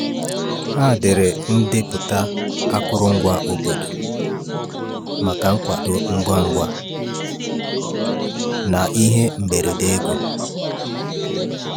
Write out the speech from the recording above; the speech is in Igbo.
Ha debere ndepụta akụrụngwa obodo maka nkwado ngwa ngwa na ihe mberede ego.